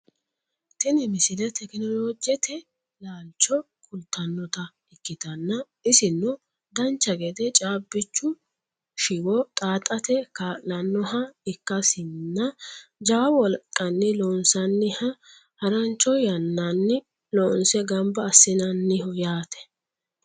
tini misile tekinoolojete laalcho kultannota ikkitanna isino dancha gede caaabichu shiwo xaaxate kaa'lannoha ikkasinna jawa wolqanni loonsanniha harancho yannanni loonse ganba assinanniho yaate